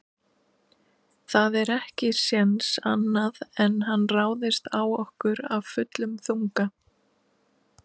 Það er ekki séns annað en hann ráðist á okkur af fullum þunga.